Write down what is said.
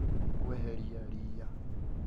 Kweheria riia